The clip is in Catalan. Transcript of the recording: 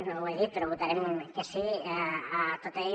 no ho he dit però votarem que sí a tota ella